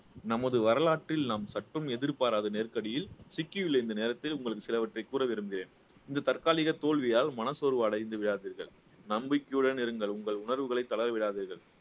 நமது வரலாற்றில் நாம் சற்றும் எதிர்பாராத நெருக்கடியில் சிக்கியுள்ள இந்த நேரத்தில் உங்களுக்கு சிலவற்றை கூற விரும்புகிறேன் இந்த தற்காலிக தோல்வியால் மனசோர்வு அடைந்து விடாதீர்கள் நம்பிக்கையுடன் இருங்கள் உங்கள் உணர்வுகளை தளர விடாதீர்கள்